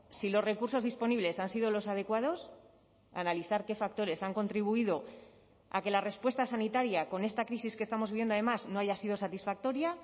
si los recursos disponibles han sido los adecuados analizar qué factores han contribuido a que la respuesta sanitaria con esta crisis que estamos viviendo además no haya sido satisfactoria